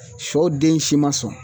Sɔ den si ma sɔn